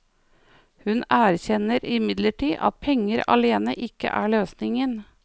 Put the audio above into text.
Hun erkjenner imidlertid at penger alene ikke er løsningen.